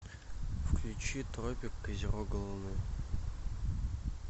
включи тропик козерога луны